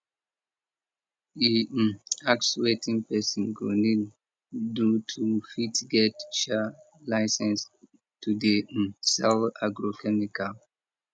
e um ask wetin person go need do to fit get um license to dey um sell agrochemical